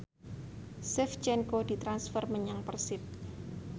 Shevchenko ditransfer menyang Persib